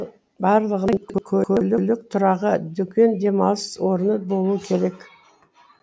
барлығында көлік тұрағы дүкен демалыс орны болуы керек